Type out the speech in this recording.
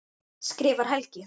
skrifar Helgi.